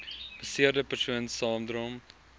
beseerde persoon saamdrom